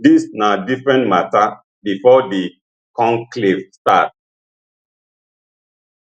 dis na different mata bifor di conclave start